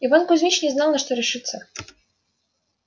иван кузмич не знал на что решиться